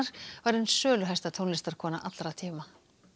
var ein söluhæsta tónlistarkona allra tíma